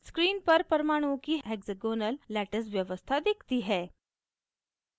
screen पर परमाणुओं की hexagonal lattice व्यवस्था दिखती है